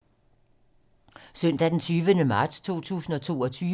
Søndag d. 20. marts 2022